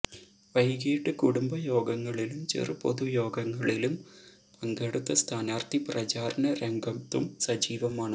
വൈകിട്ട് കുടുംബയോഗങ്ങളിലും ചെറു പൊതുയോഗങ്ങളിലും പങ്കെടുത്ത സ്ഥാനാർത്ഥി പ്രചാരണ രംഗത്തും സജീവമാണ്